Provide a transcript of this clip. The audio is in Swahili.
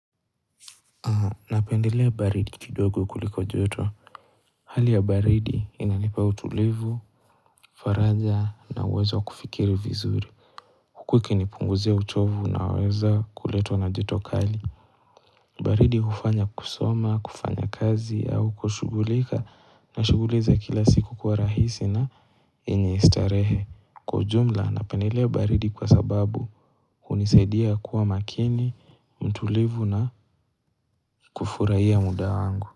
Napendelea baridi kidogo kuliko joto. Hali ya baridi inanipa utulivu, faraja na uwezo kufikiri vizuri. Huku ikinipunguzia uchovu na weza kuletwa na joto kali. Baridi hufanya kusoma, kufanya kazi au kushugulika na shuguli za kila siku kwa rahisi na yenye starehe. Kwa ujumla napendelea baridi kwa sababu hunisaidia kuwa makini, mtulivu na kufurahiya muda wangu.